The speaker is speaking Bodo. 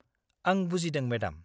आं बुजिदों, मेडाम।